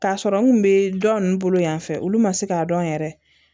K'a sɔrɔ n kun be dɔ ninnu bolo yan fɛ olu ma se k'a dɔn yɛrɛ